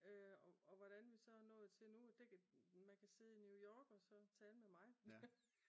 Og hvordan vi så er nået til nu at det kan man kan sidde i New York og så tale med mig